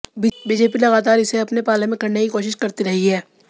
BJP लगातार इसे अपने पाले में करने की कोशिश करती रही है